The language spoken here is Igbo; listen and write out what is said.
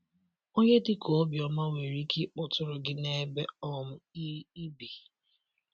Onye dị ka Obioma nwere ike ịkpọtụrụ gị n’ebe um i i bi.